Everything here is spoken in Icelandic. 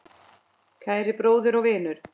Kæri bróðir og vinur.